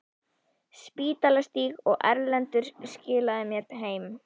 Spítalastíg, og Erlendur skilaði mér heim!